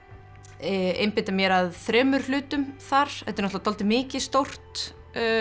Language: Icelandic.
einbeita mér að þremur hlutum þar þetta er dálítið mikið stórt